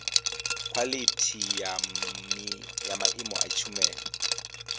khwalithi ya maimo a tshumelo